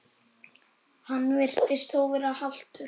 Hann virtist þó vera haltur.